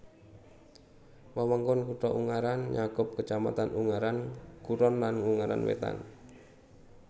Wewengkon kutha Ungaran nyakup kacamatan Ungaran Kulon lan Ungaran Wétan